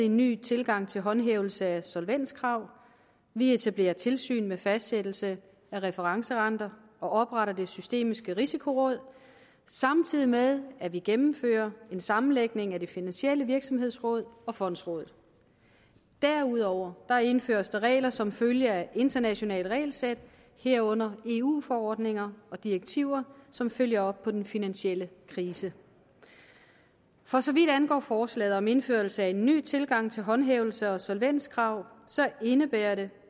en ny tilgang til håndhævelse af solvenskrav vi etablerer tilsyn med fastsættelse af referencerenter og opretter det systemiske risikoråd samtidig med at vi gennemfører en sammenlægning af det finansielle virksomhedsråd og fondsrådet derudover indføres der regler som følge af internationale regelsæt herunder eu forordninger og eu direktiver som følger op på den finansielle krise for så vidt angår forslaget om indførelse af ny tilgang til håndhævelse og solvenskrav indebærer det